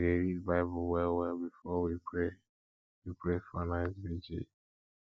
we dey read bible wellwell before we pray we pray for night virgil